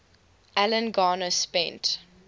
alan garner spent